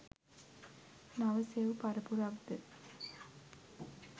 නව සෙව් පරපුරක් ද